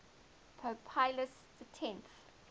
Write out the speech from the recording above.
pope pius x